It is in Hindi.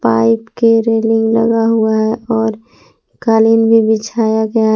पाईप के रेलिंग लगा हुआ है और कालीन भी बिछाया गया हैं।